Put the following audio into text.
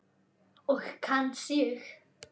Og kann sig.